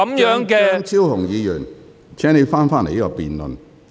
張超雄議員，請你返回辯論議題。